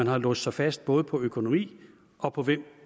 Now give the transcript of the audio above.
har låst sig fast både på økonomi og på hvem